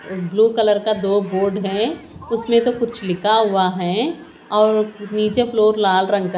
और blue colour का दो बोर्ड हैं उसमें तो कुछ लिखा हुआ है और नीचे फ्लोर लाल रंग का--